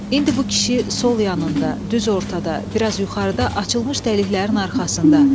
İndi bu kişi sol yanında, düz ortada, biraz yuxarıda açılmış dəliklərin arxasında.